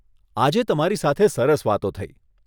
આજે તમારી સાથે સરસ વાતો થઇ.